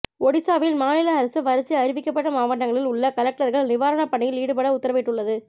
ஓடிசாவில் மாநில அரசு வறட்சி அறிவிக்கப்பட்ட மாவட்டங்களில் உள்ள கலெக்டர்கள் நிவாரண பணிகளில் ஈடுபட உத்தரவிட்டுள்ளது